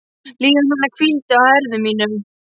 Líðan hennar hvíldi á herðum mínum.